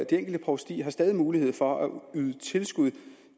enkelte provstier har stadig mulighed for at yde tilskud